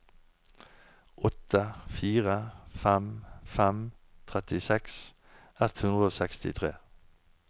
åtte fire fem fem trettiseks ett hundre og sekstitre